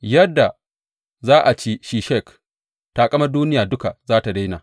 Yadda za a ci Sheshak, taƙamar duniya duka za tă daina!